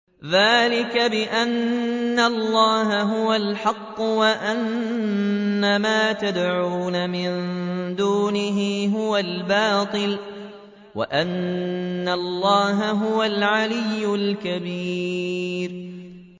ذَٰلِكَ بِأَنَّ اللَّهَ هُوَ الْحَقُّ وَأَنَّ مَا يَدْعُونَ مِن دُونِهِ هُوَ الْبَاطِلُ وَأَنَّ اللَّهَ هُوَ الْعَلِيُّ الْكَبِيرُ